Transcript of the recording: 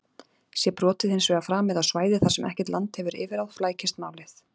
Sé brotið hins vegar framið á svæði þar sem ekkert land hefur yfirráð flækist málið.